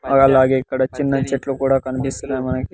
అలాగే ఇక్కడ చిన్న చెట్లు కూడా కనిపిస్తున్నాయి మనకి.